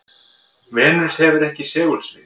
venus hefur ekki segulsvið